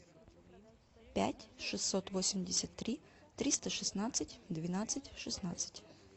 пять шестьсот восемьдесят три триста шестнадцать двенадцать шестнадцать